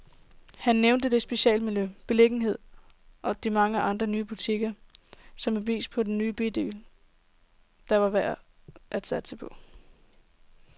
Han nævner det specielle miljø, beliggenheden og de mange nye butikker, som et bevis på en bydel, der er værd at satse på.